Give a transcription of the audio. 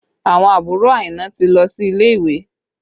Àwọn àbúrò Aina ti lọ sí ilé ìwé